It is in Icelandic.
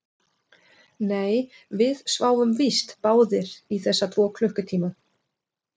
Nei, við sváfum víst báðir í þessa tvo klukkutíma